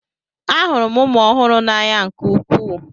Ahụrụ m ụmụ ọhụrụ n'anya nke ukwuu.